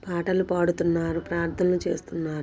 పాటలు పాడుతున్నారు. ప్రార్థన చేస్తున్నారు.